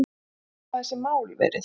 En hvernig hafa þessi mál verið